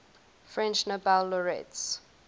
french nobel laureates